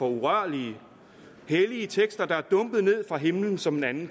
urørlige hellige tekster der er dumpet ned fra himlen som en anden